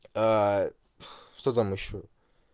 а что там ещё